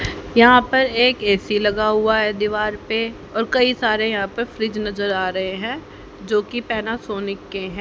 यहां पर एक ए_सी लगा हुआ है दीवार पे और कई सारे यहां पे फ्रिज नजर आ रहे है जो की पैनासोनिक के हैं।